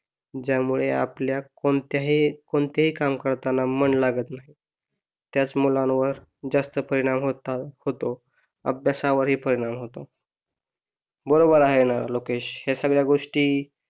ज्यामुळे आपल्या कोणत्याही कोणतेही काम करताना मन लागत नाही त्याच मुलांवर जास्त परिणाम होतो अभ्यासावर ही परिणाम होतो बरोबर आहे ना लोकेश या सगळ्या गोष्टी